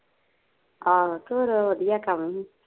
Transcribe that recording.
ਆਹੋ ਤੇ ਹੋਰ ਵਧੀਆ ਕੰਮ ਸੀ